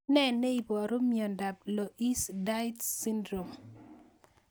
Tos nee neiparu miondop Loeys Dietz syndrome